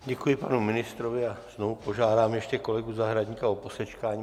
Děkuji panu ministrovi a znovu požádám ještě kolegu Zahradníka o posečkání.